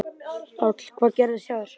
Páll: Hvað gerðist hjá þér?